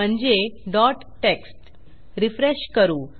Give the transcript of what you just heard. म्हणजे txt refresh करू